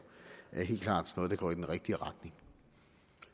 helt klart er noget der går i den rigtige retning